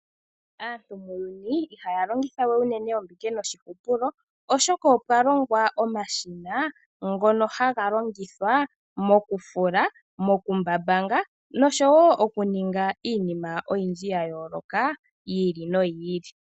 Aantu muuyuni ihaya longitha we unene ombike no shihupulo, oshoka opwa longwa omashina ngono haga longithwa moku fula, moku mbambanga nosho wo okuninga iinima oyindji ya yooloka, yi ili noyi ili.